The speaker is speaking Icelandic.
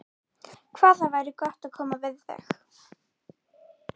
Hvað það væri gott að koma við þig.